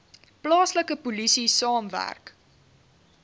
plaaslike polisie saamwerk